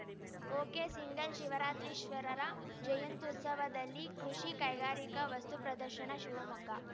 ಒಕೆಸಿಂಗಲ್‌ಶಿವರಾತ್ರೀಶ್ವರರ ಜಯುಂತ್ಯುತ್ಸವದಲ್ಲಿ ಕೃಷಿ ಕೈಗಾರಿಕಾ ವಸ್ತುಪ್ರದರ್ಶನ ಶಿವಮೊಗ್ಗ